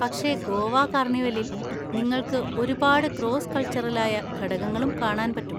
പക്ഷെ ഗോവ കാർണിവലിൽ നിങ്ങൾക്ക് ഒരുപാട് ക്രോസ്സ് കൾച്ചറലായ ഘടകങ്ങളും കാണാൻ പറ്റും.